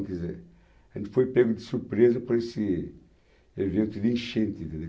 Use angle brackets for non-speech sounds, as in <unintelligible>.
quer dizer, a gente foi pego de surpresa por esse evento de enchente <unintelligible>